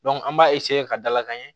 an b'a ka dalakan ɲɛ